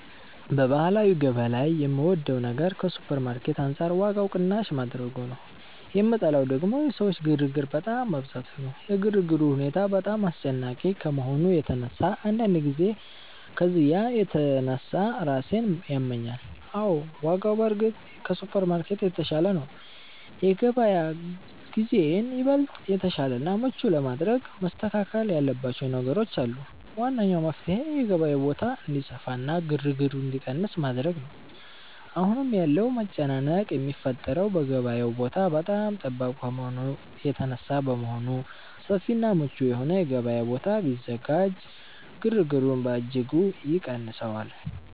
በባህላዊ ገበያ ላይ የምወደው ነገር ከሱፐርማርኬት አንጻር ዋጋው ቅናሽ ማድረጉ ነው፤ የምጠላው ደግሞ የሰዎች ግርግር በጣም መብዛቱ ነው። የግርግሩ ሁኔታ በጣም አስጨናቂ ከመሆኑ የተነሳ አንዳንድ ጊዜ ከዝያ የተነሳ ራሴን ያመኛል። አዎ፣ ዋጋው በእርግጥ ከሱፐርማርኬት የተሻለ ነው። የገበያ ግዢዬን ይበልጥ የተሻለና ምቹ ለማድረግ መስተካከል ያለባቸው ነገሮች አሉ። ዋነኛው መፍትሔ የገበያው ቦታ እንዲሰፋና ግርግሩ እንዲቀንስ ማድረግ ነው። አሁን ያለው መጨናነቅ የሚፈጠረው የገበያው ቦታ በጣም ጠባብ ከመሆኑ የተነሳ በመሆኑ፣ ሰፊና ምቹ የሆነ የገበያ ቦታ ቢዘጋጅ ግርግሩን በእጅጉ ይቀንሰዋል